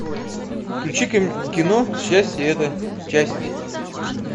включи ка кино счастье это часть